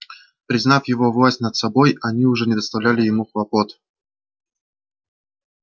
признав его власть над собой они уже не доставляли ему хлопот